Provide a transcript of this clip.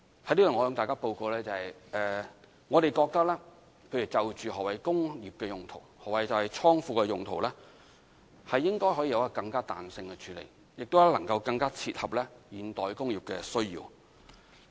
在此，我向大家報告，我們覺得就何謂"工業"和"倉庫"的用途，應該可以有更具彈性的處理，更能切合現代工業的需要。